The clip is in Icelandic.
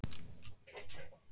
Það var keyptur frosinn kalli.